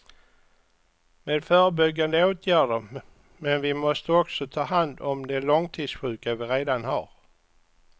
Med förebyggande åtgärder men vi måste också ta hand om de långtidssjuka vi redan har.